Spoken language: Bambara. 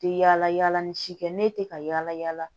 Tɛ yala yala ni si kɛ ne tɛ ka yala yala